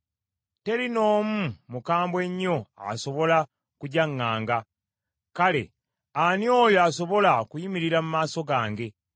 Teri n’omu mukambwe nnyo asobola kugyaŋŋanga. Kale, ani oyo asobola okuyimirira mu maaso gange?